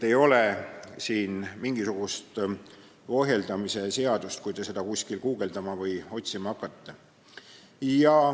Ei ole siin mingisugust ohjeldamise seadust, ütlen selleks juhuks, kui te seda kuskil guugeldama või otsima hakkate.